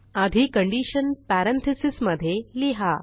आधी condition parentheses मधे लिहा